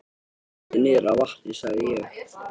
Rölti niður að vatni sagði ég.